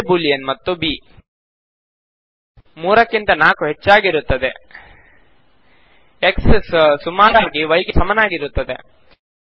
A Boolean ಮತ್ತು b 3 ಕ್ಕಿಂತ 4 ಹೆಚ್ಚಾಗಿರುತ್ತದೆ x ಸುಮಾರಾಗಿ y ಗೆ ಸಮನಾಗಿರುತ್ತದೆ